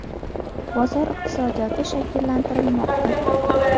Bozor iqtisodiyoti shakllantirilmoqda.